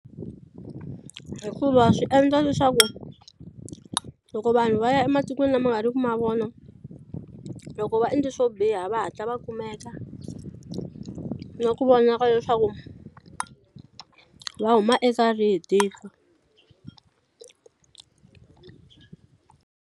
Hikuva swi endla leswaku loko vanhu va ya ematikweni lama nga ri ku ma vona loko va endle swo biha va hatla va kumeka na ku vonaka leswaku va huma eka rihi tiko.